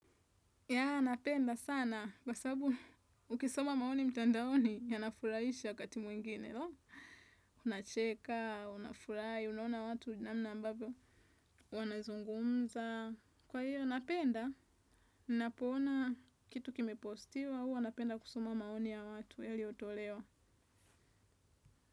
Ya, napenda sana, kwasababu ukisoma maoni mtandaoni yanafurahisha wakati mwingine, no? Unacheka, unafurahi, unaona watu, namna ambavyo, wanazungumza. Kwa hiyo, napenda. Ninapoona kitu kime postiwa huwa, napenda kusoma maoni ya watu, yaliotolewa.